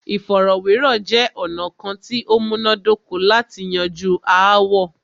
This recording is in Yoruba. Ìfọ̀rọ̀wérọ̀ jẹ́ ọ̀nà kán tí o múná dóko lati yanju aáwọ̀.